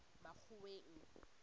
makgoweng